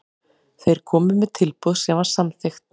Þeir komu með tilboð sem var samþykkt.